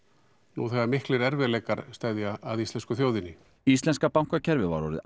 nú þegar miklir erfiðleikar steðja að íslensku þjóðinni íslenska bankakerfið var orðið